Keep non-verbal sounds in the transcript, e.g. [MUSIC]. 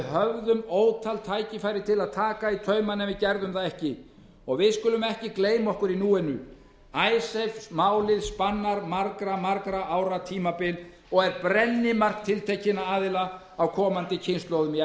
höfðum ótal tækifæri til að taka í taumana en gerðum það ekki og við skulum ekki bara gleyma okkur í núinu [UNINTELLIGIBLE] málið spannar margra ára tímabil og er brennimark sjálfstæðisflokksins á komandi kynslóðir fyrir stjórn